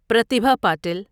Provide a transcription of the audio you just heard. Pratibha Patel